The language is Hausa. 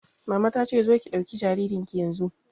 Mama ta ce 'Zo ki ɗauki jaririn ki yanzu'!